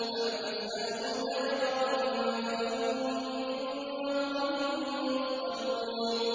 أَمْ تَسْأَلُهُمْ أَجْرًا فَهُم مِّن مَّغْرَمٍ مُّثْقَلُونَ